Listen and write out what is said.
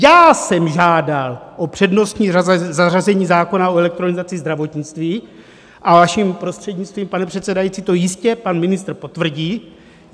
Já jsem žádal o přednostní zařazení zákona o elektronizaci zdravotnictví, a vaším prostřednictvím, pane předsedající, to jistě pan ministr potvrdí.